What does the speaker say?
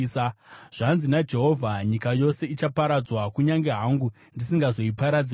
Zvanzi naJehovha: “Nyika yose ichaparadzwa, kunyange hangu ndisingazoiparadzi zvachose.